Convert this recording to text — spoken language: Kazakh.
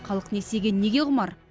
халық несиеге неге құмар